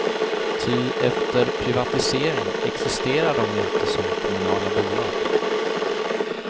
Ty efter privatisering existerar de ju inte som kommunala bolag.